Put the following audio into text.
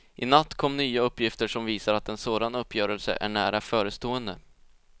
I natt kom nya uppgifter som visar att en sådan uppgörelse är nära förestående.